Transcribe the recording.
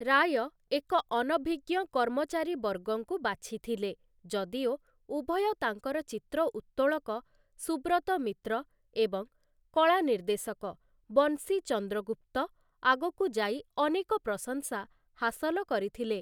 ରାୟ ଏକ ଅନଭିଜ୍ଞ କର୍ମଚାରୀ ବର୍ଗଙ୍କୁ ବାଛିଥିଲେ, ଯଦିଓ ଉଭୟ ତାଙ୍କର ଚିତ୍ର ଉତ୍ତୋଳକ, ସୁବ୍ରତ ମିତ୍ର ଏବଂ କଳା ନିର୍ଦ୍ଦେଶକ ବଂଶୀ ଚନ୍ଦ୍ରଗୁପ୍ତ ଆଗକୁ ଯାଇ ଅନେକ ପ୍ରଶଂସା ହାସଲ କରିଥିଲେ ।